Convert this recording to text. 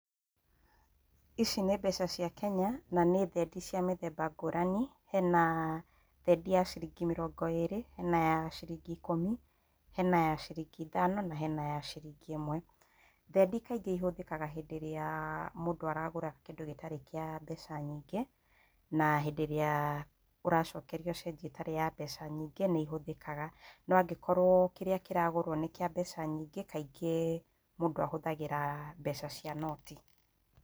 Ici nĩ mbeca cia Kenya. na nĩ thendi cia mĩthemba ngũrani. Hena thendi ya ciringi mĩrongo ĩrĩ, hena ya ciringi ikũmi, hena ya ciringi ithano, na hena ya ciringi ĩmwe. Thendi kaingĩ ihũthĩkaga ĩndĩ ĩrĩa mũndũ aragũra kĩndũ gĩtarĩ kĩa mbeca nyingĩ, na hĩndĩ ĩrĩa ũracokerio cĩnjĩ ĩtarĩ ya mbeca nyingĩ, nĩ ihũthĩkaga. No angĩkorwo kĩrĩa kĩragũrwo nĩ kĩa mbeca nyingĩ, kaingĩ mũndũ ahũthagĩra mbeca cia noti.